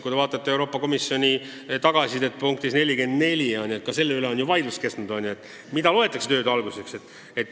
Kui te vaatate Euroopa Komisjoni tagasisidet, siis ka selle üle on ju vaieldud, mida loetakse tööde alustamiseks.